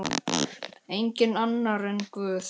Enginn annar en Guð.